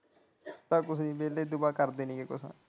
ਚਲ ਕੁਝ ਨਹੀ ਵੇਹਲੇ ਦੁਆ ਕਰ ਦੇਣਗੇ ਕੁਝ।